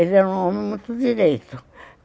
Ele era um homem muito direito.